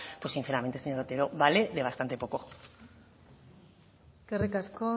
pues sinceramente señor otero vale de bastante poco eskerrik asko